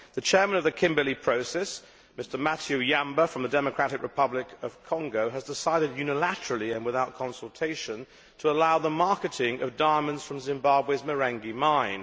The Chairman of the Kimberley Process, Mr Mathieu Yamba from the Democratic Republic of the Congo, has decided unilaterally, and without consultation, to allow the marketing of diamonds from Zimbabwe's Marange mine.